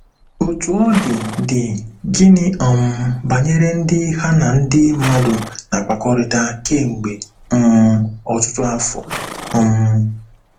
Otú ọ dị, dị, gịnị um banyere ndị ha na ndị mmadụ na-akpakọrịta kemgbe um ọtụtụ afọ? um